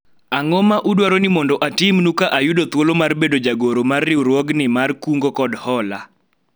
ang'o ma udwaro ni mondo atimnu ka ayudo thuolo mar bedo jagoro mar riwruogni mar kungo kod hola ?